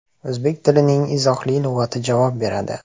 O‘zbek tilining izohli lug‘ati javob beradi.